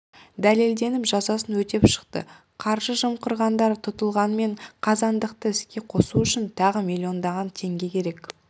дәлелденіп жазасын өтеп шықты қаржы жымқырғандар тұтылғанымен қазандықты іске қосу үшін тағы миллиондаған теңге керек